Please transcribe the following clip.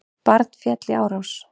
Barn féll í árás